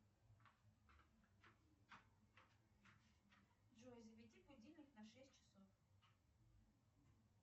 джой заведи будильник на шесть часов